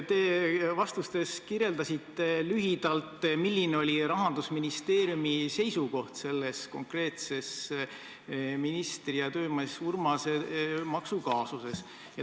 Te vastustes kirjeldasite lühidalt, milline oli Rahandusministeeriumi seisukoht selle konkreetse ministri ja töömees Urmase maksukaasuse osas.